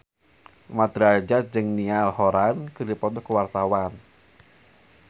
Mat Drajat jeung Niall Horran keur dipoto ku wartawan